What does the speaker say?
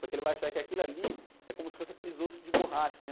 Porque ele vai achar que aquilo ali é como se fosse aqueles ossos de borracha, né?